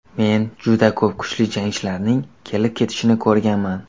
Men juda ko‘p kuchli jangchilarning kelib-ketishini ko‘rganman.